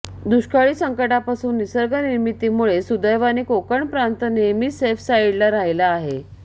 दुष्काळी संकटांपासून निसर्गनिर्मितीमुळे सुदैवाने कोकण प्रांत नेहमीच सेफसाईडला राहिला आहे